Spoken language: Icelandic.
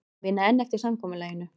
Vinna enn eftir samkomulaginu